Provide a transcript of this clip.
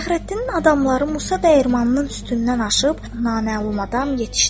Fəxrəddinin adamları Musa dəyirmanının üstündən aşıb naməlum adam yetişdi.